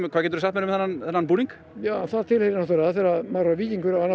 hvað geturðu sagt mér um þennan búning þegar maður er víkingur verður